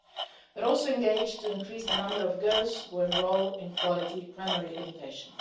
We're also engaged in increasing the number of girls who enrol in quality primary education.